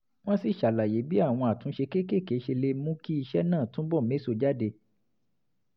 wọ́n sì ṣàlàyé bí àwọn àtúnṣe kéékèèké ṣe lè mú kí iṣẹ́ náà túbọ̀ méso jáde